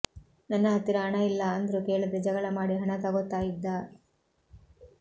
ನನ್ನ ಹತ್ತಿರ ಹಣ ಇಲ್ಲ ಅಂದ್ರು ಕೇಳದೆ ಜಗಳ ಮಾಡಿ ಹಣ ತಗೊತಾ ಇದ್ದ